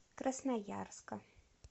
красноярска